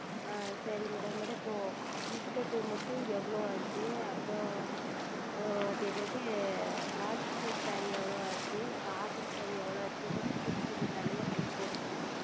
ஆஹ் சரிங்கள் Madam Madam இப்பொழுது Inskirt மட்டும் எவ்வளவு ஆனது அப்புறம் அது என்னது polyester Saree எவ்வளவு ஆனது Cotton Saree எவ்வளவு ஆனது இதற்கு மட்டும் கொஞ்சம் தனியாக Bill போடுங்கள்